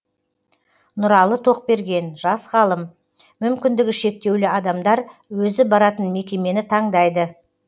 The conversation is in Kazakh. нұралы тоқберген жас ғалым мүмкіндігі шектеулі адамдар өзі баратын мекемені таңдайды